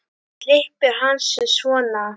Klippir hann sig svona.